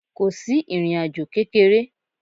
Ko si irín ajò kekere.